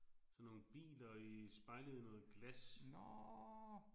Sådan nogle biler i spejlet i noget glas